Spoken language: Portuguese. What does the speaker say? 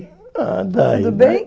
ah daí, Tudo bem?